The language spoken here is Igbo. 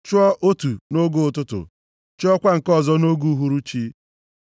Chụọ otu nʼoge ụtụtụ; chụọkwa nke ọzọ nʼoge uhuruchi.